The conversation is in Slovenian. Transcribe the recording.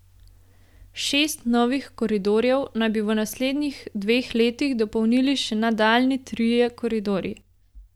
Šest novih koridorjev naj bi v naslednjih dveh letih dopolnili še nadaljnji trije koridorji.